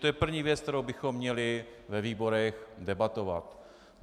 To je první věc, kterou bychom měli ve výborech debatovat.